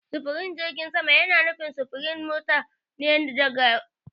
Sufurin jirgin sama yana nufin sufurin mutane da kaya daga waje ɗaya zuwa wani wajen ta iska.